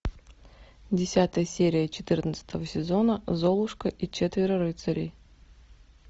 десятая серия четырнадцатого сезона золушка и четверо рыцарей